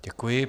Děkuji.